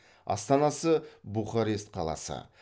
астанасы бухарест қаласы